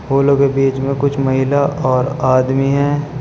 फूलों के बीच में कुछ महिला और आदमी हैं।